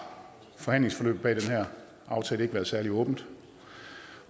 forhandlingsforløbet bag den her aftale ikke være særlig åbent